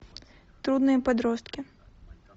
трудные подростки